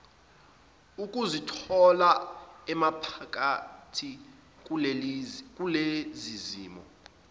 ukuzithola emaphakathi kulezizimo